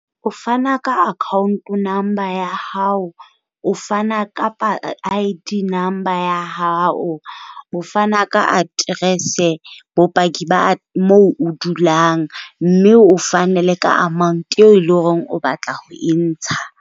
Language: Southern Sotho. O fana ka account number ya hao, o fana ka I-D number ya hao, o fana ka aterese, bopaki ba mo o dulang, mme o fane le ka amount eo eleng hore o batla ho e ntsha.